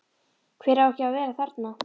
Hver á ekki að vera þarna?